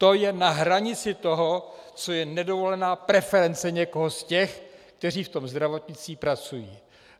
To je na hranici toho, co je nedovolená preference někoho z těch, kteří v tom zdravotnictví pracují.